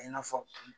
A n'a fɔ